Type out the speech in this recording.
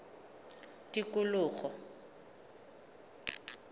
tikologo